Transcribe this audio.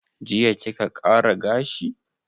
Jiya kika ƙara gashi?